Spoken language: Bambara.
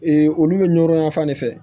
Ee olu bɛ ɲɔgo yan fan de fɛ